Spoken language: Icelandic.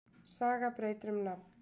Saga breytir um nafn